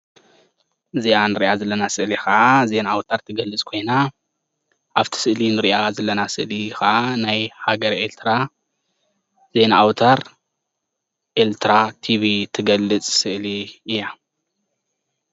እዛ ንሪኣ ዘለና ስእሊ ከዓ ዜና ኣውታር ትገልፅ ኮይና ኣብቲ ስእሊ እንሪኣ ዘለና ስእሊ ከዓ ናይ ሃገረ ኤሪትራ ዜና ኣውታር ኤሪትራ TV እትገልፅ ስእሊ እያ፡፡